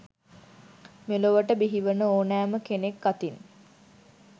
මෙලොවට බිහිවන ඕනෑම කෙනෙක් අතින්